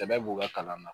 Sɛbɛ b'u ka kalan na